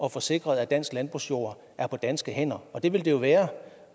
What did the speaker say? at få sikret at dansk landbrugsjord er på danske hænder og det vil den jo være